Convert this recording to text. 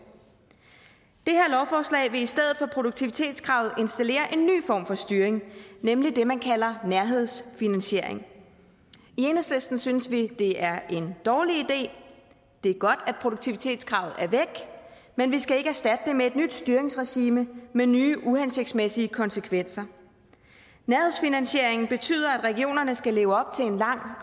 det her lovforslag vil i stedet for produktivitetskravet installere en ny form for styring nemlig det man kalder nærhedsfinansiering i enhedslisten synes vi det er en dårlig idé det er godt at produktivitetskravet er væk men vi skal ikke erstatte det med et nyt styringsregime med nye uhensigtsmæssige konsekvenser nærhedsfinansieringen betyder at regionerne skal leve op til en lang